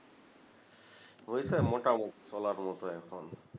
হয়েছে মোটামুটি চলার মতো এখন